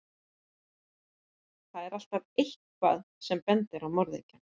Þar er alltaf EITTHVAÐ sem bendir á morðingjann.